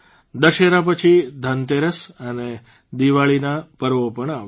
દશેરા પછી ધનતેરસ અને દિવાળીના પર્વો પણ આવશે